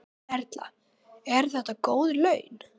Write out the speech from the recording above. Erla: Eru þetta góð laun?